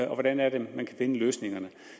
hvordan er det man kan finde løsninger